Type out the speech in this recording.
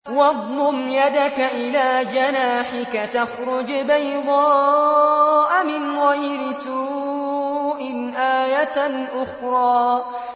وَاضْمُمْ يَدَكَ إِلَىٰ جَنَاحِكَ تَخْرُجْ بَيْضَاءَ مِنْ غَيْرِ سُوءٍ آيَةً أُخْرَىٰ